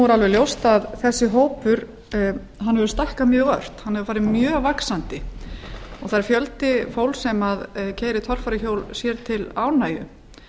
alveg ljóst að þessi hópur hefur stækkað mjög ört hann hefur farið mjög vaxandi og það er fjöldi fólks sem keyrir torfæruhjól sér til ánægju